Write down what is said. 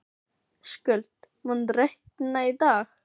Skuld, mun rigna í dag?